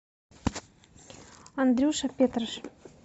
андрюша петраш